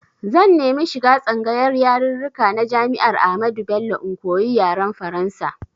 Zan nemi shiga tsangayar yarirrika na Jami'ar Ahmadu Bello in koyi yaren Faransa.